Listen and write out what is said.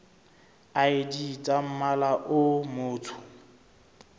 id tsa mmala o motsho